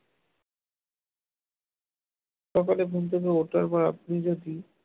সকালে ঘুম থেকে ওঠার পর আপনি যদি